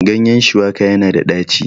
ganyen shuwaka yana da daci